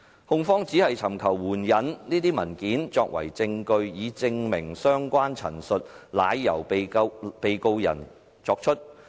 控方只尋求援引這些文件作為證據，以證明相關陳述是由被告人作出。